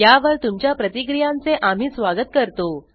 या वर तुमच्या प्रतिक्रियांचे आम्ही स्वागत करतो